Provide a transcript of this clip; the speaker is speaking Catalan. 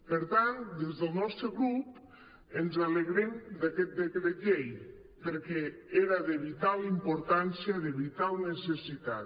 per tant des del nostre grup ens alegrem d’aquest decret llei perquè era de vital importància de vital necessitat